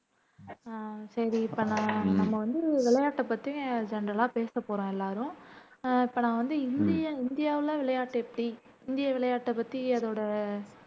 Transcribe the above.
அஹ் சரி இப்போ நான் நம்ம வந்து விளையாட்ட பத்தி ஜென்ரலா பேச போறோம் எல்லாரும் அஹ் இப்போ நான் வந்து இந்திய இந்தியாவுல விளையாட்டு எப்படி இந்திய விளையாட்ட பத்தி அதோட